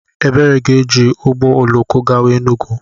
Ebere ga-eji ụgbọ oloko gawa Enugwu.